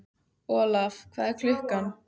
Olaf, hvað er klukkan?